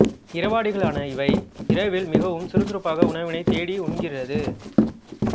இரவாடிகளான இவை இரவில் மிகவும் சுறுசுறுப்பாக உணவினைத் தேடி உண்ணுகிறது